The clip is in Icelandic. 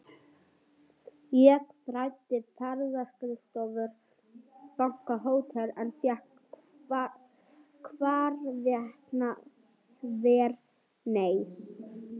Ég þræddi ferðaskrifstofur, banka, hótel, en fékk hvarvetna þvert nei.